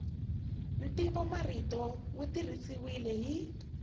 ntivomarito wu tirhisiwile hi